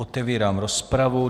Otevírám rozpravu.